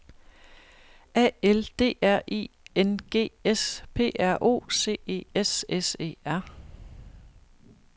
A L D R I N G S P R O C E S S E R